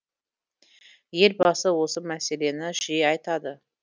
елбасы осы мәселені жиі айтады